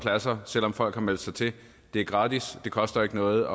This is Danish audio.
pladser selv om folk har meldt sig til det er gratis det koster ikke noget